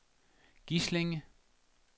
Gislinge